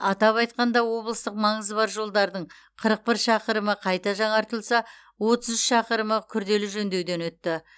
атап айтқанда облыстық маңызы бар жолдардың қырық бір шақырымы қайта жаңартылса отыз үш шақырымы күрделі жөндеуден өтті